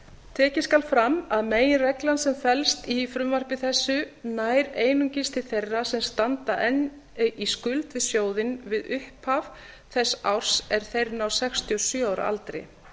tekið skal fram að meginreglan sem felst í frumvarpi þessu nær einungis til þeirra sem standa enn í skuld við sjóðinn við upphaf þess árs er þeir ná sextíu og sjö ára aldri